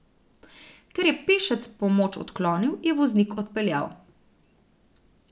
Ker je pešec pomoč odklonil, je voznik odpeljal.